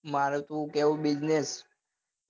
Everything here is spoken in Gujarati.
મારે શું કેવું bussiness